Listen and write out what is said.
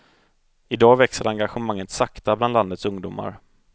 I dag växer engagemanget sakta bland landets ungdomar.